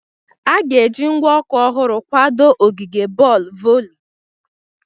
A ga-eji ngwa ọkụ ọhụrụ kwadoo ogige boolu voli.